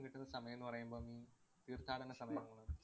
ഇപ്പം കിട്ടുന്ന സമയംന്ന് പറയുയുമ്പം തീര്‍ഥാടനസമയമാണ്.